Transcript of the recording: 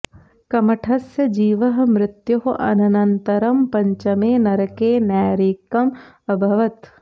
कमठस्य जीवः मृत्योः अनन्तरं पञ्चमे नरके नैरयिकः अभवत्